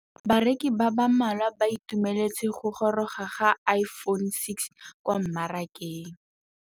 Bareki ba ba malwa ba ituemeletse go gôrôga ga Iphone6 kwa mmarakeng.